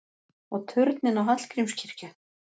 Og turninn á Hallgrímskirkju!